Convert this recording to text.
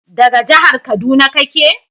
daga jihar kaduna kake?